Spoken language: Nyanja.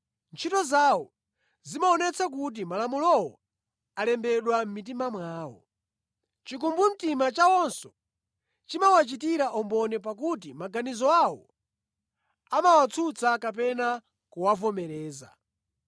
Ntchito zawo zimaonetsa kuti Malamulowo alembedwa mʼmitima mwawo. Chikumbumtima chawonso chimawachitira umboni pakuti maganizo awo amawatsutsa kapena kuwavomereza.